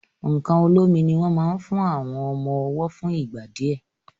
nkán olómi ní wón mo fún àwọn ọmọ ọwo fún ìgbà díẹ.